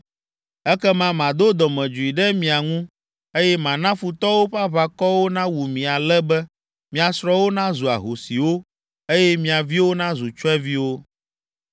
Ekema mado dɔmedzoe ɖe mia ŋu, eye mana futɔwo ƒe aʋakɔwo nawu mi ale be mia srɔ̃wo nazu ahosiwo, eye mia viwo nazu tsyɔ̃eviwo.